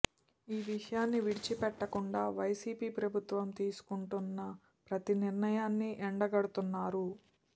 ఏ విషయాన్ని విడిచిపెట్టకుండా వైసీపీ ప్రభుత్వం తీసుకుంటున్న ప్రతి నిర్ణయాన్ని ఎండగడుతున్నారు